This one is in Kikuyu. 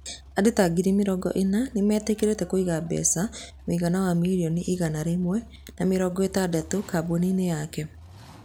Andũ ta ngiri mĩrongo ĩna nĩ meetĩkĩrire kũiga mbeca mũigana wa milioni igana rĩmwe na mĩrongo ĩtandatũ kambuni-inĩ yake.